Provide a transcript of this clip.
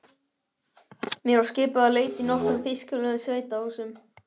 Mér var skipað að leita í nokkrum þýskulegum sveitahúsum.